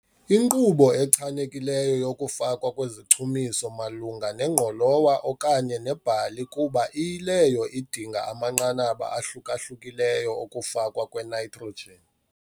Inkqubo echanekileyo yokufakwa kwezichumiso malunga nengqolowa okanye nebhali kuba iyileyo idinga amanqanaba ahluka-hlukileyo okufakwa kwenitrogen.